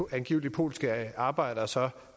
angiveligt polske arbejdere så